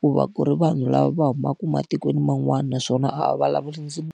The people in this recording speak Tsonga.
ku va ku ri vanhu lava va humaka matikweni man'wana naswona a vulavuli .